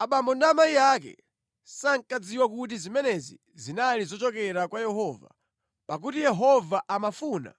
(Abambo ndi amayi ake sankadziwa kuti zimenezi zinali zochokera kwa Yehova, pakuti Yehova amafuna